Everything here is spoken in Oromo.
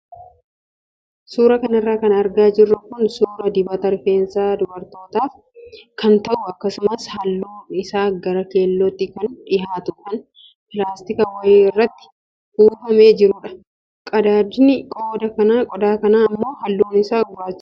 Suuraa kanarra kan argaa jirru kun suuraa dibata rifeensa dubarootaaf kan ta'u akkasumas halluun isaa gara keellootti kan dhiyaatu kan pilaatika wayii keessatti kuufamee jirudha. Qadaadni qodaa kanaa immoo halluun isaa gurraachadha.